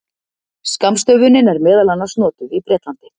Skammstöfunin er meðal annars notuð í Bretlandi.